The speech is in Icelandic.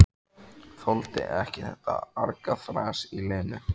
Þoldi ekki þetta argaþras í Lenu.